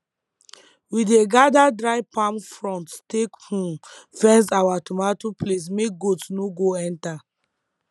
we dey gather dry palm fronds take um fence our tomato place make goat no go enter